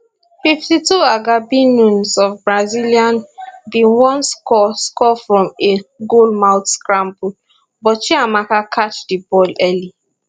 fifty two agabi nunes of brazilian bin wan score score from a goal mouth scramble but chiamaka catch di ball early